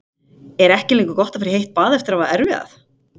Er ekki lengur gott að fara í heitt bað eftir að hafa erfiðað?